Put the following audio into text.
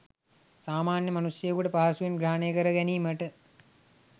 සාමාන්‍ය මනුෂ්‍යයෙකුට පහසුවෙන් ග්‍රහණය කරගැනීමට